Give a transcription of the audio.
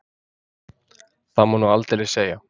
Það má nú aldeilis segja.